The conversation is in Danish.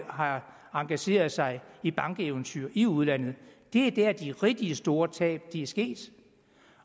har engageret sig i bankeventyr i udlandet det er der de rigtig store tab er sket